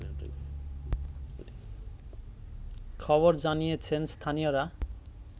খবর জানিয়েছেন স্থানীয়রা